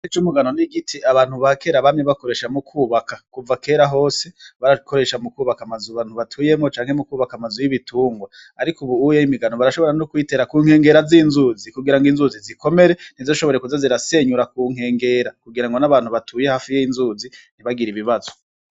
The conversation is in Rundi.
Igiti c'umugano n'igiti abantu bakera abamye bakoresha mu kwubaka, kuva kera hose barakoresha mu kwubaka amazu abantu batuyemwo canke mu kwubaka amazu y'ibitungwa, ariko ubu uye imigano barashobora no kuyitera ku nkengera z'inzuzi kugira ngo inzuzi zikomere ntizishobore kuza zirasenyura ku nkengera kugira ngo n'abantu batuye hafi y'inzuzi ntibagira ibibazo.